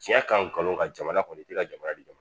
Diɲɛ kanu ka jamana kɔni tɛ ka jamana di ma